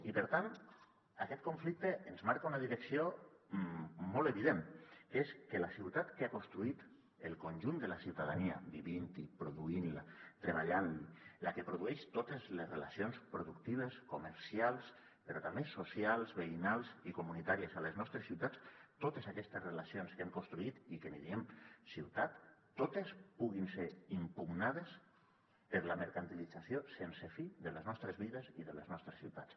i per tant aquest conflicte ens marca una direcció molt evident que és que la ciutat que ha construït el conjunt de la ciutadania vivint hi produint hi treballant la la que produeix totes les relacions productives comercials però també socials veïnals i comunitàries a les nostres ciutats totes aquestes relacions que hem construït i que en diem ciutat totes puguin ser impugnades per la mercantilització sense fi de les nostres vides i de les nostres ciutats